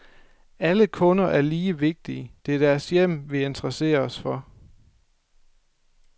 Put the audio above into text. Alle kunder er lige vigtige, det er deres hjem vi interesserer os for.